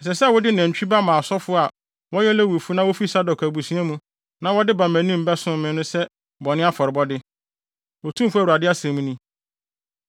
Ɛsɛ sɛ wode nantwi ba ma asɔfo a wɔyɛ Lewifo na wofi Sadok abusua mu na wɔba mʼanim bɛsom me no sɛ bɔne afɔrebɔde, Otumfo Awurade asɛm ni.